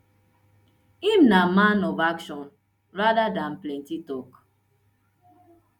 im na man of action rather dan plenty tok